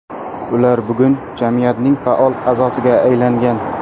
Ular bugun jamiyatning faol a’zosiga aylangan.